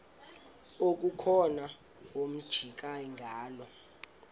okukhona wamjongay ngaloo